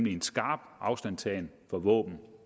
er en skarp afstandtagen fra våben